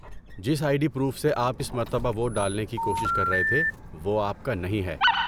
جس I D proof سے آپ اس مرتبہ ووٹ ڈالنے کی کوشش کر رہے تھے وہ آپ کا نہیں ہے۔